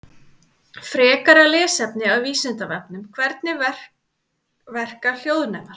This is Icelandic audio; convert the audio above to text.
Frekara lesefni af Vísindavefnum: Hvernig verka hljóðnemar?